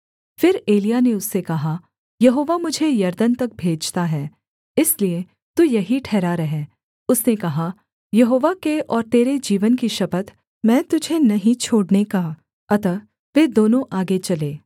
फिर एलिय्याह ने उससे कहा यहोवा मुझे यरदन तक भेजता है इसलिए तू यहीं ठहरा रह उसने कहा यहोवा के और तेरे जीवन की शपथ मैं तुझे नहीं छोड़ने का अतः वे दोनों आगे चले